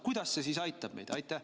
Kuidas see meid aitab?